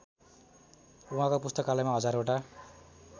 उहाँको पुस्तकालयमा हजारवटा